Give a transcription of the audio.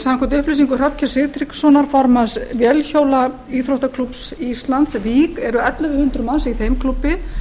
samkvæmt upplýsingum hrafnkels sigtryggssonar formanns vélhjólaíþróttaklúbbs íslands vík eru ellefu þúsund manns í þeim klúbbi